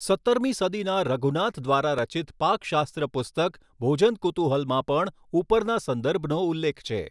સત્તરમી સદીના રઘુનાથ દ્વારા રચિત પાકશાસ્ત્ર પુસ્તક ભોજન કુતુહલમાં પણ ઉપરના સંદર્ભનો ઉલ્લેખ છે.